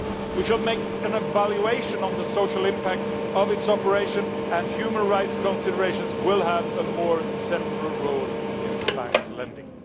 We should make an evaluation of the social impact of its operation, and human rights considerations will have a more central role in the Bank's lending.